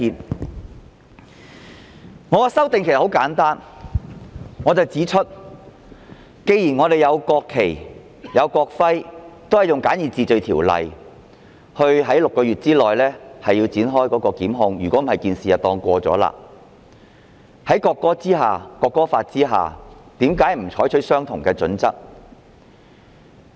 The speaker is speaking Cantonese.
其實我的修正案很簡單，我指出，既然我們設有《國旗及國徽條例》，按簡易程序，在6個月內提出檢控，否則事件便會當作已經過去，為何《條例草案》不採用相同準則？